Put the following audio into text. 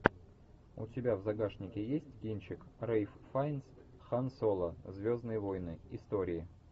у тебя в загашнике есть кинчик рэйф файнс хан соло звездные войны истории